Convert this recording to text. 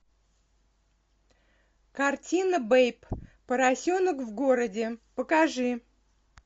картина бэйб поросенок в городе покажи